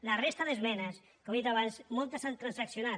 de la resta d’esmenes com he dit abans moltes s’han transaccionat